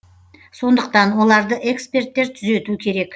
сондықтан оларды эксперттер түзету керек